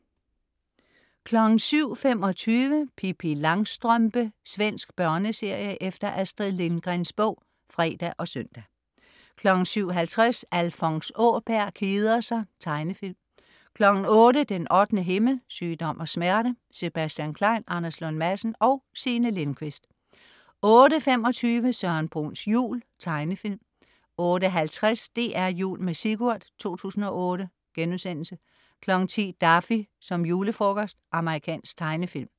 07.25 Pippi Langstrømpe. Svensk børneserie efter Astrid Lindgrens bog (fre og søn) 07.50 Alfons Åberg keder sig. Tegnefilm 08.00 Den 8. himmel. Sygdom og smerte. Sebastian Klein, Anders Lund Madsen og Signe Lindkvist 08.25 Søren Bruns jul. Tegnefilm 08.50 DR Jul med Sigurd 2008* 10.00 Daffy som julefrokost. Amerikansk tegnefilm